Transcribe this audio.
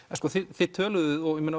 þið töluðuð og